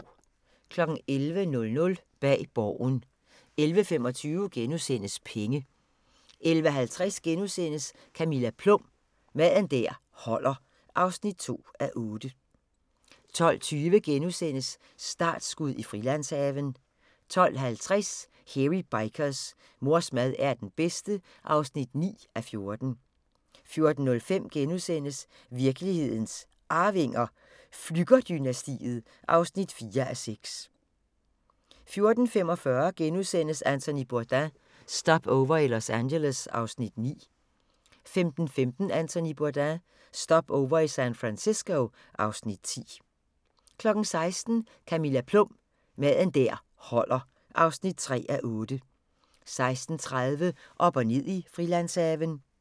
11:00: Bag Borgen 11:25: Penge * 11:50: Camilla Plum – Mad der holder (2:8)* 12:20: Startskud i Frilandshaven * 12:50: Hairy Bikers: Mors mad er den bedste (9:14) 14:05: Virkelighedens Arvinger: Flügger-dynastiet (4:6)* 14:35: Anthony Bourdain – Stopover i Los Angeles (Afs. 9)* 15:15: Anthony Bourdain – Stopover i San Francisco (Afs. 10) 16:00: Camilla Plum – Mad der holder (3:8) 16:30: Op og ned i Frilandshaven